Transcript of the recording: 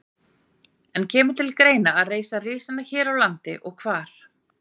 En kemur til greina að reisa risana hér á landi og hvar?